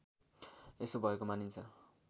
यसो भएको मानिन्छ